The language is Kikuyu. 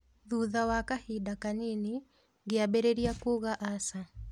Thutha wa kabinda kanini ngĩambĩrĩria kuuga aca